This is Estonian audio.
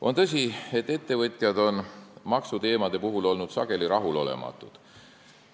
On tõsi, et ettevõtjad on maksuteemade puhul olnud sageli rahulolematud.